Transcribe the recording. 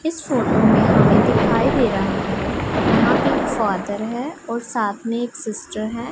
इस फोटो में हमें दिखाई दे रहा है यहां पे एक फादर है और साथ में एक सिस्टर है।